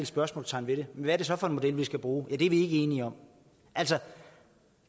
spørgsmålstegn ved det men hvad er det så for en model man skal bruge ja de ikke enige om altså